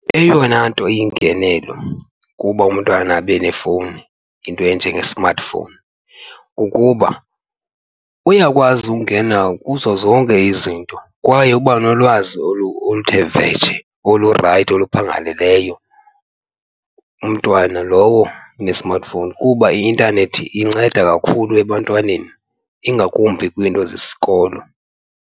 Eyona nto iyingenelo ukuba umntwana abe nefowuni, into enjenge-smartphone, kukuba uyakwazi ukungena kuzo zonke izinto kwaye uba nolwazi oluthe vetshe olurayithi oluphangaleleyo umntwana lowo one-smart phone kuba i-intanethi inceda kakhulu ebantwaneni, ingakumbi kwiinto zesikolo.